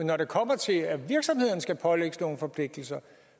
når det kommer til at virksomhederne skal pålægges nogle forpligtelser